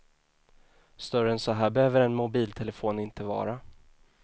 Större än så här behöver en mobiltelefon inte vara.